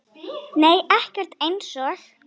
Nei ekkert eins og